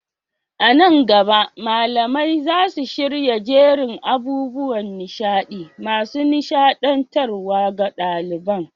A nan gaba, malamai za su shirya jerin abubuwan nishaɗi masu nishaɗantarwa ga ɗaliban.